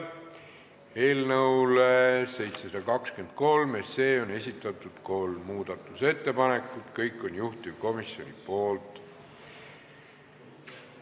Eelnõu 723 kohta on esitatud kolm muudatusettepanekut, kõik on juhtivkomisjonilt.